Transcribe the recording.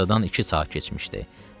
Günortadan iki saat keçmişdi.